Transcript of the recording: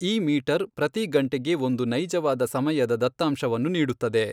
ಈ ಮೀಟರ್ ಪ್ರತಿ ಗಂಟೆಗೆ ಒಂದು ನೈಜವಾದ ಸಮಯದ ದತ್ತಾಂಶವನ್ನು ನೀಡುತ್ತದೆ.